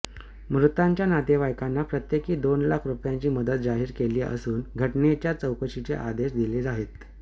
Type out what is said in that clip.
मृतांच्या नातेवाईकांना प्रत्येकी दोन लाख रुपयांची मदत जाहीर केली असून घटनेच्या चौकशीचे आदेश दिले आहेत